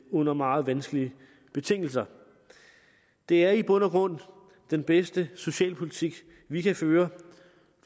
under meget vanskelige betingelser det er i bund og grund den bedste socialpolitik vi kan føre